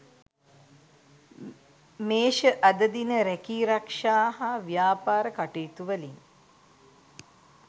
මේෂ අද දින රැකී රක්ෂා හා ව්‍යාපාර කටයුතුවලින්